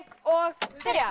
og byrja